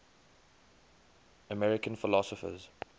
american philosophers